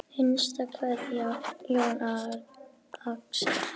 Hinsta kveðja Jón Axel.